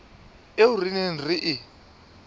eo re neng re e